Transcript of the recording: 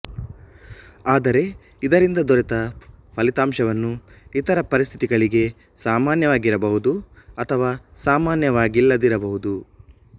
ಆದರೆ ಇದರಿಂದ ದೊರೆತ ಫಲಿತಾಂಶವನ್ನು ಇತರ ಪರಿಸ್ಥಿತಿಗಳಿಗೆ ಸಾಮಾನ್ಯವಾಗಿರಬಹುದು ಅಥವಾ ಸಾಮಾನ್ಯವಾಗಿಲ್ಲದಿರಬಹುದು